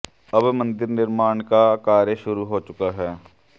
अब मंदिर निर्माण का कार्य शुरू हो चुका है